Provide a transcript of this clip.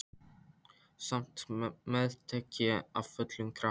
Samt meðtek ég af fullum krafti.